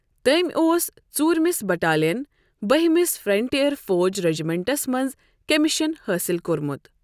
تٔمۍ اوس ژورۍمِس بٹالین، بہہِمس فرنٹیئر فوٗج رجمنٹس منٛز کمیشن حٲصِل کوٚرمُت۔